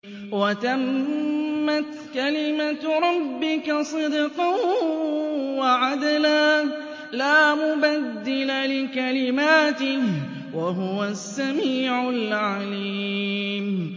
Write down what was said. وَتَمَّتْ كَلِمَتُ رَبِّكَ صِدْقًا وَعَدْلًا ۚ لَّا مُبَدِّلَ لِكَلِمَاتِهِ ۚ وَهُوَ السَّمِيعُ الْعَلِيمُ